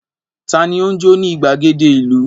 Ta ni ó ń jó ní ìgbàgede ìlú?